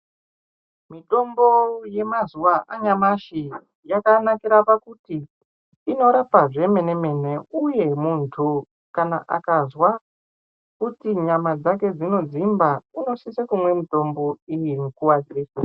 Mitombo yemazuva anyamashi, yakanakira pakuti inorapa zvemene mene uye muntu kana akazwa kuti nyama dzake dzinodzimba, unosise kumwe mutombo.